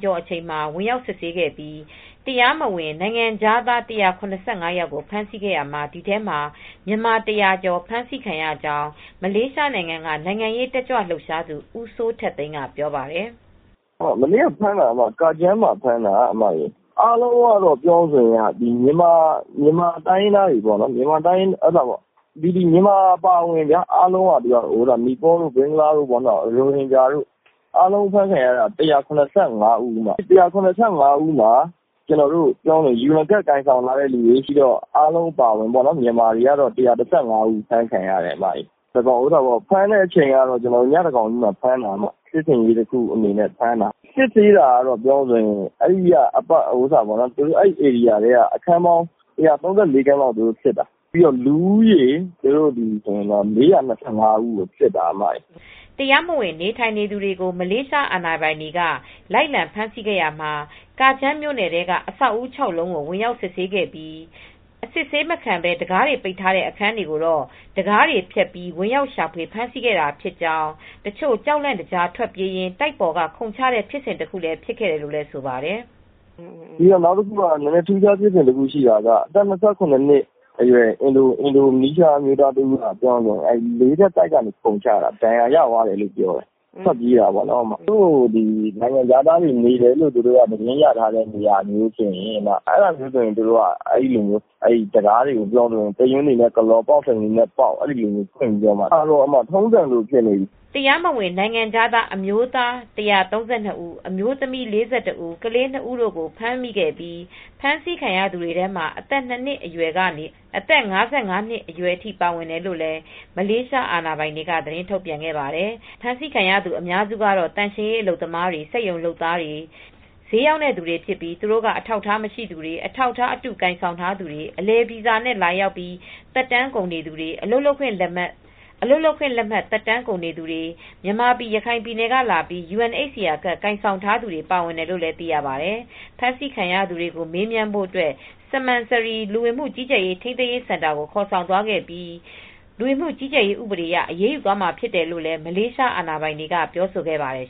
ကျော် အချိန် ဝင်ရောက်စစ်ဆေးပြီး တရားမဝင် နိုင်ငံခြားသား ၁၇၅ ယောက်ကို ဖမ်းဆီးရာမှာ ဒီထဲမှာ မြန်မာ ၁၀၀ ကျော် ဖမ်းဆီးခံရကြောင်း မလေးရှားနိုင်ငံက နိုင်ငံရေးတက်ကြွ လှုပ်ရှားသူ ဦးစိုးထက်သိန်းက ပြောပါတယ်။ “ မနေ့က ဖမ်းတာကတော့ ကာဂျမ်းမြို့မှာ ဖမ်းတာပါ။ အားလုံးကတော့ မြန်မာတွေ အပါအဝင် နီပေါတို့ ၊ ရိုဟင်ဂျာတွေ၊ ဘင်္ဂလားတို့ အားလုံး အဖမ်းခံရတာ ၁၇၅ ဦး ပါ ဖမ်းခံရသူတွေကတော့ ယူအန်ကဒ် ကိုင်ဆောင်ထားသူတွေ မြန်မာတွေကတော့ ၁၁၅ ဦး ဖမ်းခံရတယ်။ ဖမ်းတဲ့အချိန်ကတော့ ညသန်းခေါင်ကြီးမှာ ဖမ်းတာ။ စစ်ဆင်ရေးတခုလို ဖမ်းတာပါ။ စစ်ဆေးတာကတော့ အဲဒီ ဧရိယာထဲက အခန်းပေါင်း ၁၃၄ခန်းလောက် စစ်တယ်။ လူဦးရေကတော့ ၄၂၅ ဦး ကု ိစစ်ပါတယ်။ ” တရားမဝင် နေထိုင်သူတွေကို မလေးရှား အာဏာပိုင်တွေက လိုက်လံဖမ်းဆီးရာမှာ ကာဂျမ်းမြို့နယ်ထဲက အဆောက်အဦး ၆ လုံး ကို ဝင်ရောက်စစ်ဆေးရာမှာ အစစ်အဆေးမခံပဲ တံခါးတွေ ပိတ်ထားတဲ့ အခန်းတွေကိုတော့ တံခါးတွေ ဖျက်ပြီး ဝင်ရောက်ရှာဖွေ ဖမ်းဆီးခဲ့တာဖြစ်ကြောင်း၊ တချို့ကြောက်လန့် တကြား ထွက်ပြေးရင်း တိုက်ပေါ်က ခုန်ချတဲ့ဖြစ်စဉ်တခုလည်း ဖြစ်ခဲ့တယ်လို့ ဆိုပါတယ်။ “ နောက်တခုက ထူးခြားဖြစ်စဉ်တခုရှိတာကတော့အင်ဒိုနီးရှာအမျိုးသားတဦးအသက်၂ရ နှစ်အရွယ်ပေါ့ လေးထပ်တိုက်ပေါ်ကနေ ခုန်ချတာ ထွက်ပြေးတာပေါ့နော်။ ” ဒဏ်ရာရသွားတယ်လို့ ပြောပါတယ်။ နိုင်ငံခြားသားတွေ နေတယ်လို့ သတင်းရထားတဲ့ နေရာမျိုးဆိုရင် တံခါးေးတွကို ပေါက်စိန်တွေနဲ့ပေါက်၊ တူရွင်းတွေနဲ့ ကလော်၊ အဲဒါက ထုံးစံလိုဖြစ်နေပြီ။ ” တရားမဝင် နိုင်ငံခြားသား အမျိုးသား ၁၃၂ ဦး၊ အမျိုးသမီး ၄၁ ဦး၊ ကလေး ၂ ဦးတို့ကို ဖမ်းမိခဲ့ပြီး ဖမ်းဆီးခံရသူတွေထဲမှာ အသက် ၂နှစ်အရွယ်ကနေ အသက် ၅၅ နှစ်အထိ ပါဝင်တယ်လို့လည်း မလေးရှား အာဏာပိုင်တွေက သတင်းထုတ်ပြန်ခဲ့ပါတယ်။ ဖမ်းဆီးခံရသူ အများစုကတော့ သန့်ရှင်းရေး အလုပ်သမားတွေ၊ စက်ရုံလုပ်သားတွေ ဈေးရောင်းတဲ့သူတွေဖြစ်ပြီး သူတို့က အထောက်အထား မရှိသူတွေ အထောက်အထားအတု ကိုင်ဆောင်ထားသူတွေ အလည်ဗီဇာနဲ့ လာရောက်ပြီး သက်တမ်းကုန်နေသူတွေ အလုပ်လုပ်ခွင့် လက်မှတ် သက်တမ်းကုန်နေသူတွေ မြန်မာပြည် ရခိုင်ပြည်နယ်ကလာပြီး UNHCR ကဒ်ကိုင်ဆောင်ထားသူတွေ ပါဝင်တယ်လို့လည်း သိရပါတယ်။ ဖမ်းဆီးခံရသူများကို မေးမြန်းဖို့ အတွက် စမန်နရီ (Semenyih) လူဝင်မှုကြီးကြပ်ရေး ထိန်းသိမ်းရေးစင်တာကိုခေါ်ဆောင်သွားခဲ့ပြီး လူဝင်မှု ကြီးကြပ်ရေး ဥပဒေအရ အရေးယူသွားမှာဖြစ်တယ်လို့လည်း မလေးရှား အာဏာပိုင်တွေက ပြောဆိုခဲ့ပါတယ်